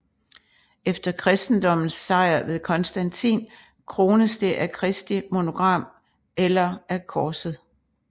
Efter kristendommens sejr ved Constantin krones det af Kristi monogram eller af korset